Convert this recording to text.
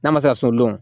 N'a ma se sodenw